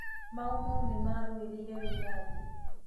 Maumau nĩmarũĩrĩire wĩĩyathi